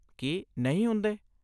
ਕੀ ਨਹੀਂ ਹੁੰਦੇ?